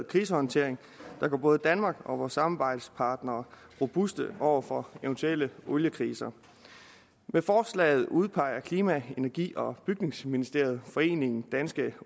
krisehåndtering der gør både danmark og vores samarbejdspartnere robuste over for eventuelle oliekriser med forslaget udpeger klima energi og bygningsministeriet foreningen danske